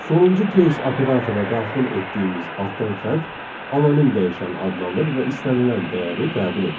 Sonuncu case operatoruna daxil etdiyimiz altdan xətt, anonim dəyişən adlanır və istənilən dəyəri qəbul edir.